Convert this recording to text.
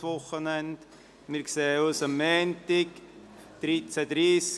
Wir sehen uns am Montag, um 13.30 Uhr, wieder.